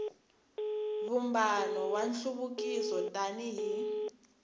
vumbano wa nhluvukiso tani hi